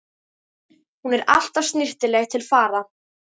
Hún er alltaf snyrtileg til fara.